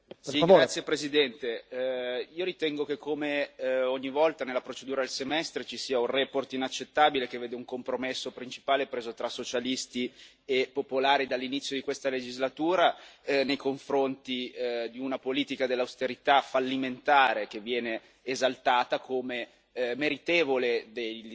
Signor Presidente, onorevoli colleghi, io ritengo che, come ogni volta nella procedura del semestre, ci sia una relazione inaccettabile, che vede un compromesso principale preso tra socialisti e popolari dall'inizio di questa legislatura nei confronti di una politica dell'austerità fallimentare, che viene esaltata come